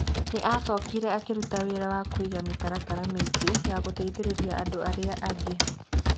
Nĩ acokire akĩruta wĩra wa kũiga mĩtaratara mĩingĩ ya gũteithĩrĩria andũ arĩa angĩ.